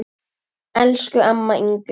Elsku amma Ingunn.